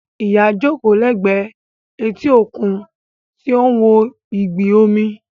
Ìyá jókòó lẹ́gbẹ̀ẹ́ etí òkun tí ó ń wo ìgbì omi